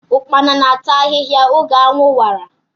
Ụkpana na-ata ahiahia oge anwụ wara.